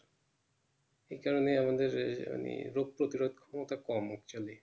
এই কারণে আমাদের এহানি রোজ প্রতিরোধ ক্ষমতা কম হচ্ছে অনেক